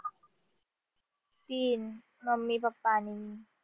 तीन mummy papa आणि